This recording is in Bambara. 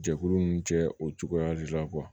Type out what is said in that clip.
Jɛkulu ninnu cɛ o cogoya de la